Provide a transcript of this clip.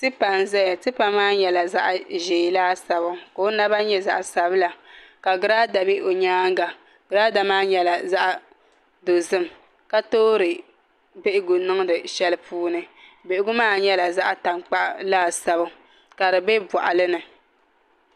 Tipa n ʒɛya tipa maa nyɛla zaɣ ʒiɛ laasabu ka o naba nyɛ zaɣ sabila ka girada bɛ o nyaanga girada maa nyɛla zaɣ dozim ka toori bihigu niŋdi shɛli puuni bihigu maa nyɛla zaɣ tankpaɣu laasabu ka di bɛ boɣali ni